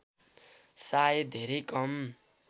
सायद धेरै कम